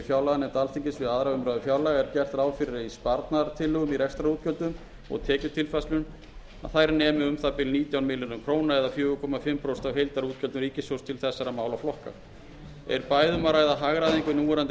að í sparnaðartillögum í rekstrarútgjöldum og tekjutilfærslum nemi um það bil nítján milljörðum króna eða um fjögur og hálft prósent af heildarútgjöldum ríkissjóðs til þessara málaflokka er bæði um að ræða hagræðingu í núverandi